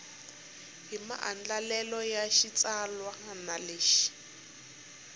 hi maandlalelo ya xitsalwana lexi